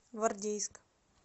гвардейск